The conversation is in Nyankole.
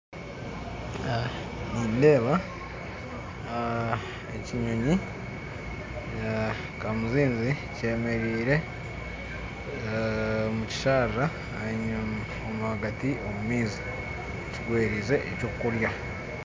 Nindeeba ekinyonyi ekirikwetwa kamuzinzi kyemereire omu kisharara ahagati omu maizi kigwereire eky'okurya